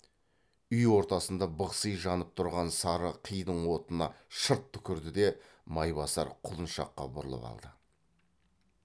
үй ортасында бықси жанып тұрған сары қидың отына шырт түкірді де майбасар құлыншаққа бұрылып алды